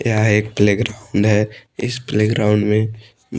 यहां एक playground है इस प्ले ग्राउंड मे--